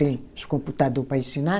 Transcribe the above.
Tem os computador para ensinar.